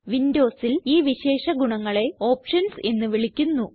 Windowsൽ ഈ വിശേഷ ഗുണങ്ങളെ ഓപ്ഷൻസ് എന്ന് വിളിക്കുന്നു